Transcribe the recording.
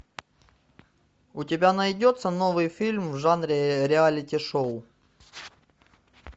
у тебя найдется новый фильм в жанре реалити шоу